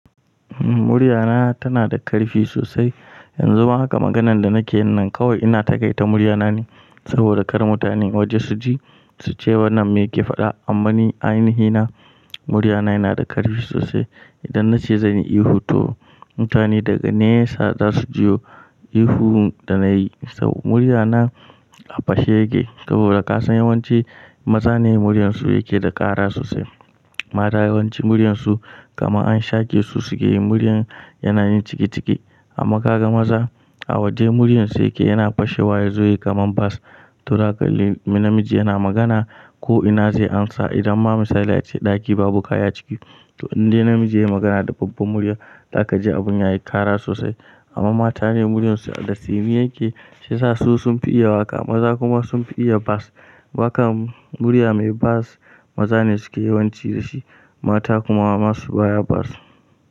Muryana tana da ƙarfi sosai. Yanzu ma haka maganan da nake yin nan kawai ina ta kaita muryana ne saboda kar mutanen waje su ji suce wannan me yake faɗa. Amma ni a ainihina muryana yana da ƙarfi sosai. Idan nace zanyi ihu to mutane daga nesa zasu jiyo ihu da nayi sabo muryana a fashe yake. Saboda kasan yawanci maza ne muryansu yake da ƙara sosai. Mata yawanci muryansu kamar an shake su suke yin muryan yanayin ciki ciki. Amma ka ga maza a waje muryansu yake yana fashe waye zai yi kamar bass to haka in namiji yana magana ko ina zai amsa idan ma misali ace ɗaki babu kaya ciki. To in dai namiji yayi magana da babba murya zaka ji abun yayi ƙara sosai. Amma mata ne muryansu da tsini yake shiyasa su sun fi iya waƙa maza kuma sun fi iya bass. Wakan murya mai bass maza ne suke yawanci da shi mata kuma nasu baya bass.